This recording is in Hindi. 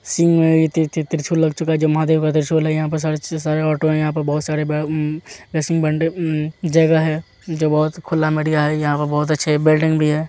त्रिशूल लग चुका है जो महादेव का त्रिशूल है यहाँ पर सारे ऑटो बहुत सारे हम्म जगह है जो बहुत खुला मढ़िया है यहाँ पे बहुत अच्छे बिल्डिंग भी है।